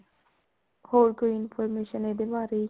ਹੋਰ ਕੋਈ information ਇਹਦੇ ਬਾਰੇ